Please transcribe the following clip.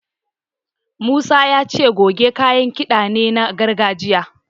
Musa ya ce Kuge kayan kiɗa ne na gargajiya.